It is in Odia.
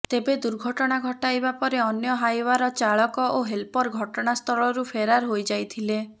ତେବେ ଦୁର୍ଘଟଣା ଘଟାଇବା ପରେ ଅନ୍ୟ ହାଇଓ୍ବାର ଚାଳକ ଓ ହେଲପର ଘଟଣାସ୍ଥଳରୁ ଫେରାର୍ ହୋଇଯାଇଥିଲେ